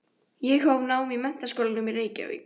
Ég hóf nám í Menntaskólanum í Reykjavík.